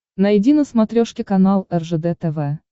найди на смотрешке канал ржд тв